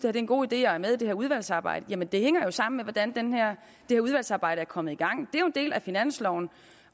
er en god idé og er med i det her udvalgsarbejde jamen det hænger jo sammen med hvordan det udvalgsarbejde er kommet i gang det er en del af finansloven